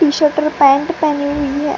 T-shirt और pant पहनी हुयी हे --